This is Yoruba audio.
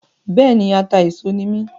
Bẹ́ẹ̀ni, atà-éso ni mí